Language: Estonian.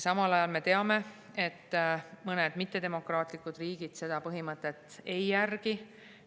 Samal ajal me teame, et mõned ebademokraatlikud riigid seda põhimõtet ei järgi.